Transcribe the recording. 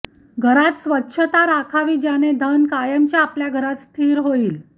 घरात स्वच्छता राखावी ज्याने धन कायमचे आपल्या घरात स्थिर होईल